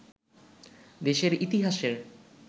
দেশের ইতিহাসের